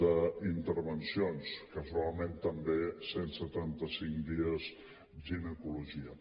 d’intervencions casualment també cent i setanta cinc dies ginecologia